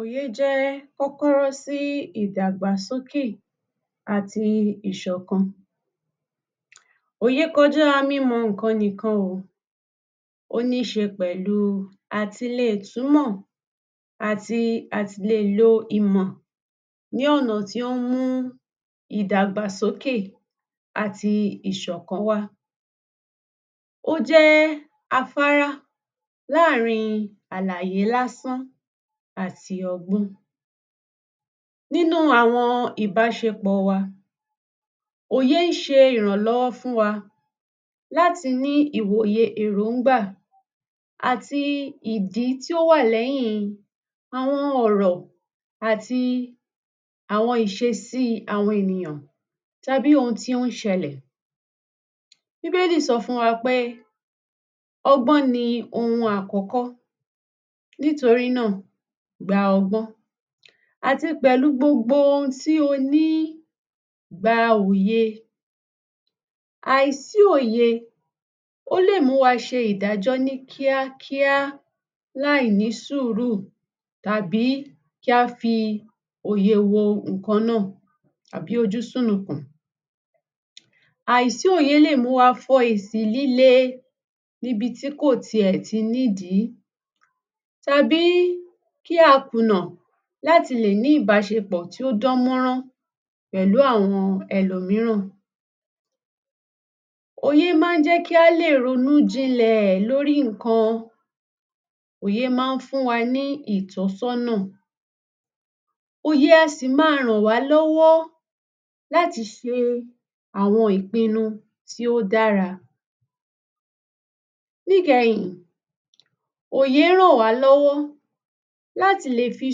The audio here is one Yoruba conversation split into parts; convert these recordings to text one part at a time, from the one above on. Òye jẹ́ kókóró sí ìdàgbàsókè àti ìṣọ̀kan. Òye kọjá mímọ ǹkan nìkan o, ó níṣe pẹ̀lu àtìle túnmọ̀ àti àtìle lo ìmọ̀ ní ọ̀nà tí ó mú ìdàgbàsòkè àti ìṣọ̀kan wá. Ó jẹ́ afárá láàrin àlàyé lásán àti ọgbọ́n. Nínú àwọn ìbásepọ̀ wa, òye ṣe ìrànlọ́wọ́ fún wa láti ní ìwòye èróngbà àti ìdí tí ó wà láàrin àwọn ọ̀rọ̀ àti àwọn ìsesí àwọn ènìyàn tàbí ohun tí óún ṣẹlẹ̀. Bíbélì sọ fún wa pé ọgbọ́n ni ohun àkọ́kọ́, nítorí nà, gba ọgbọ́n àti pẹ̀lú gbogbo ohun tí o ní, gba òye. Àì sí òye, ó lè mú wa ṣe ìdájọ́ ní kíákíá láì ní sùúrù tàbí kí á fi òye wo ǹkan náà tàbí ojú sùnùkùn. Àì sí òye le mú wa fọ èsì líle níbí tí kò ti ẹ̀ ti ní ìdí tàbí kí a kùnà láti le ní ìbásepọ̀ tí ó dán mọ́rán pẹ̀lú àwọn ẹlòmíràn. Òye má ń jẹ́ kí á lè ronú jinlẹ̀ lórí ǹkan. Òye má ń fún wa ní ìtọ̀sọ́nà. Òye a sì ma ràn wá lọ́wọ́ láti ṣe àwọn ìpinu tí ó dára. Ní ìkẹyin, òye rán wà lọ́wọ́ láti le fi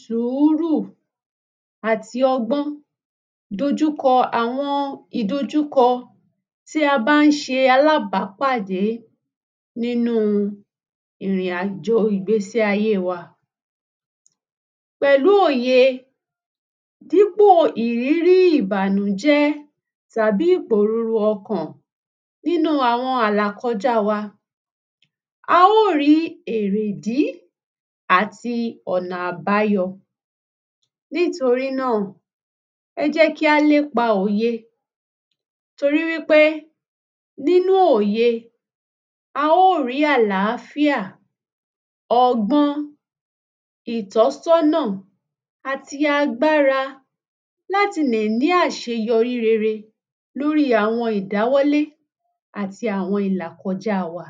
sùúrù àti ọgbọ́n dojùkọ àwọn ìdojúkọ tí a bá ń se alábàpáàdé nínú ìrìn àjò ìgbésí ayé wa. Pẹ̀lu òye, dípo ìrírí ìbànújẹ́ tàbí ìpòroro ọkàn nínú àwọn àlàkọjá wa, a ó rí èrè ìdí àti ọ̀nà àbáyo. Nítorínà, ẹ jẹ́ kí á lépa òye nítorí wípé nínú òye, a ó rí àlàfíà, ọgbọ́n, ìtọ̀sọ́nà, àti agbára láti lè ní àṣeyọrí rere lóri àwọn ìdáwọ́lé àti àwọn ìlàkọjá wa.